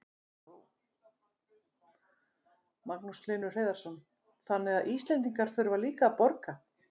Magnús Hlynur Hreiðarsson: Þannig að Íslendingar þurfa líka að borga?